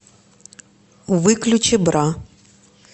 выключи бра